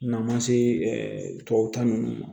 N'a ma se tubabu ta ninnu